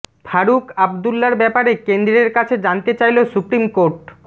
ফারুক আবদুল্লার ব্যাপারে কেন্দ্রের কাছে জানতে চাইল সুপ্রিম কোর্ট